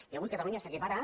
i avui catalunya s’equipara a